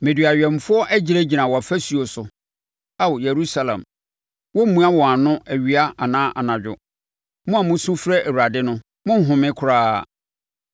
Mede awɛmfoɔ agyinagyina wʼafasuo so Ao, Yerusalem; wɔremmua wɔn ano awia anaa anadwo. Mo a musu frɛ Awurade no, monnhome koraa,